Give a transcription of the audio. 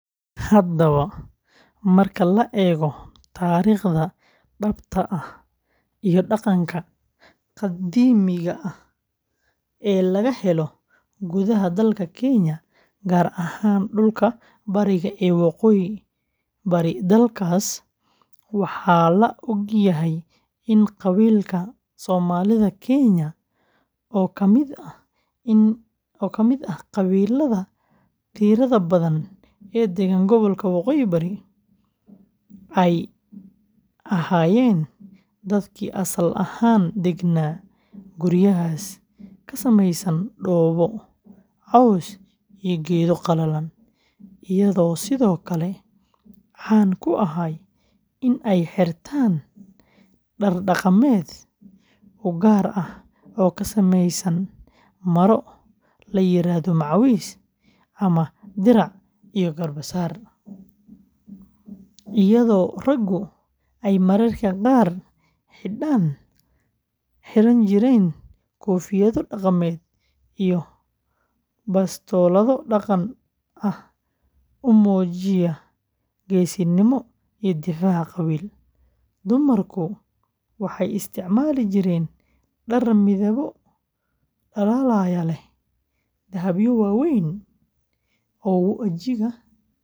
Haddaba, marka la eego taariikhda dhabta ah iyo dhaqanka qadiimiga ah ee laga helo gudaha dalka Kenya, gaar ahaan dhulka bariga iyo waqooyi-bari dalkaas, waxaa la og yahay in qabiilka Somalida Kenya, oo ka mid ah qabiilada tirada badan ee degan gobolka Waqooyi Bari, ay ahaayeen dadkii asal ahaan degganaa guryahaas ka samaysan dhoobo, caws iyo geedo qallalan, iyagoo sidoo kale caan ku ahaa in ay xirtaan dhar dhaqameed u gaar ah oo ka samaysan maro la yiraahdo macawiis ama dirac iyo garbasaar, iyadoo raggu ay mararka qaar xidhan jireen koofiyado dhaqameed iyo bastoolado dhaqan ahaan u muujinaya geesinimo iyo difaac qabiil. Dumarku waxay isticmaali jireen dhar midabbo dhalaalaya leh, dahabyo waaweyn oo wejiga, gacmaha iyo dhegaha laga gashado.